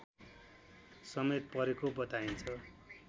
समेत परेको बताइन्छ